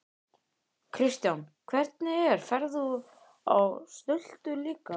Kristján: Hvernig er, ferð þú á stultur líka?